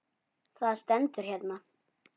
Það stendur hérna.